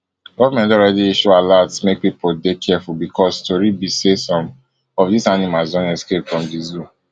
goment don already issue alerts make pipo dey careful becos tori be say some of dis animalsdon escapefrom di zoo